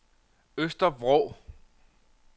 Øster Vrå